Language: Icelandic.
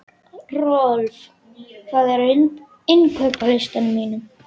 Rolf, hvað er á innkaupalistanum mínum?